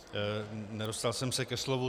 Nedostal jsem se ke slovu.